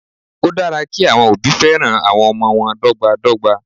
Ó dára kí àwọn òbí féràn àwọn ọmọ wọn dọ́gba dọ́gba.